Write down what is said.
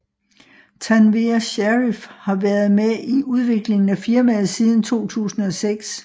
Tanveer Sharif har været med i udviklingen af firmaet siden 2006